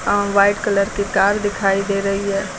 यहां white colour की car दिखाई दे रही है।